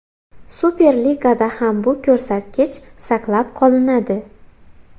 Super Ligada ham bu ko‘rsatkich saqlab qolinadi.